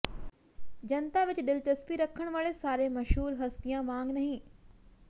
ਜਨਤਾ ਵਿਚ ਦਿਲਚਸਪੀ ਰੱਖਣ ਵਾਲੇ ਸਾਰੇ ਮਸ਼ਹੂਰ ਹਸਤੀਆਂ ਵਾਂਗ ਨਹੀਂ